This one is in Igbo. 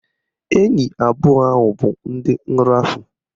Enyi abụọ ahụ bụ ndị nrafu